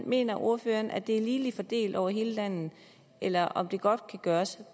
mener ordføreren at de er ligeligt fordelt over hele landet eller om det godt kan gøres